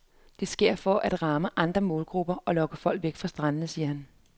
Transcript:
Det sker for at ramme andre målgrupper og lokke folk væk fra standene, siger han.